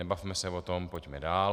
Nebavme se o tom, pojďme dál.